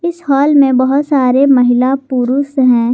इस हाल में बहोत सारे महिला पुरुष हैं।